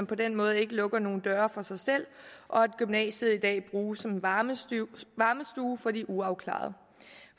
på den måde ikke lukker nogle døre for sig selv og at gymnasiet i dag bruges som en varmestue for de uafklarede